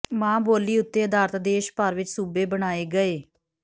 ਮਾਂ ਬੋਲੀ ਉਤੇ ਅਧਾਰਤ ਦੇਸ਼ ਭਰ ਵਿੱਚ ਸੂਬੇ ਬਣਾਏ ਗਏ